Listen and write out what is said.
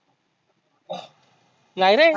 नाही रे